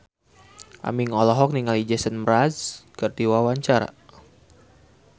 Aming olohok ningali Jason Mraz keur diwawancara